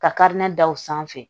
Ka da u sanfɛ